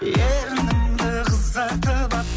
ерініңді қызартып алып